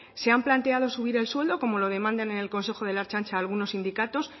se han planteado subir el sueldo como la demanden en el consejo de la ertzaintza algunos sindicatos